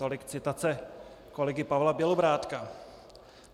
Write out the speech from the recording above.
Tolik citace kolegy Pavla Bělobrádka.